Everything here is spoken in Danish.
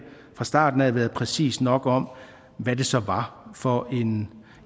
fra starten af været præcis nok om hvad det så var for en